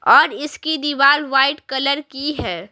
और इसकी दीवार वाइट कलर की है।